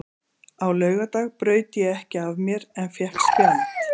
Á laugardag braut ég ekki af mér en fékk spjald.